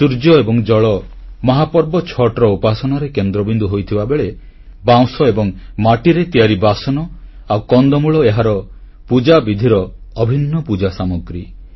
ସୂର୍ଯ୍ୟ ଏବଂ ଜଳ ମହାପର୍ବ ଛଠ୍ ଉପାସନାରେ କେନ୍ଦ୍ରବିନ୍ଦୁ ହୋଇଥିବାବେଳେ ବାଉଁଶ ଏବଂ ମାଟିରେ ତିଆରି ବାସନ ଆଉ କନ୍ଦମୂଳ ଏହାର ପୂଜାବିଧିର ଅଭିନ୍ନ ପୂଜାସାମଗ୍ରୀ